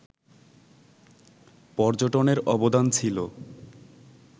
পর্যটনের অবদান ছিল